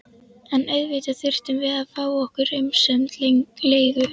En auðvitað þurftum við að fá okkar umsömdu leigu.